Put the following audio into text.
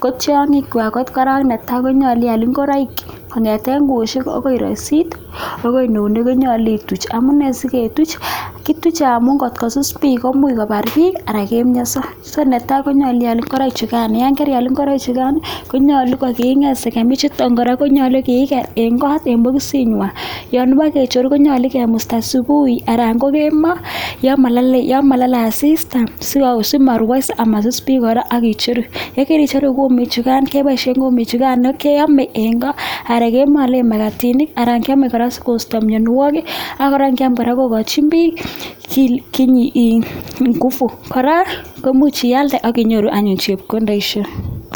ko tiongikwai kot netai konyolu iaal ngoraik, kongete kwoyoniik akoi rasiik akoi nunik konyolu ituuch, amun siketuuch, kituuche amun ngosus biik komuch kobaar biik anan kemianso. So netai, konyolu iaal ngoraik chikan, yon kaial ngoroik chukan konyolu kigeer sakamichutok kora, konyolu kiiger eng kot eng bokisingwai. Yon pekecheru konyolu kemusta subuhi anan ko kemboi, yon malalei asista simarwoiso ama suus biik kora aki cheeru, ye kecheru kumik chekan kepoishe kumik chekan keame eng koo anan kemalen makatinik anan kiame koraskonsi tamanawok ako kora kiam kora kokochin biik nguvu ,kora, komuch ialde aki nyoru anyun chepkondoishek.